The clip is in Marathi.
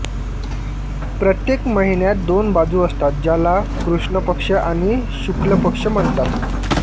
प्रत्येक महिन्यात दोन बाजू असतात ज्याला कृष्ण पक्ष आणि शुक्ल पक्ष म्हणतात